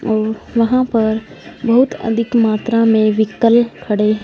और वहां पर बहोत अधिक मात्रा में व्हीकल खड़े--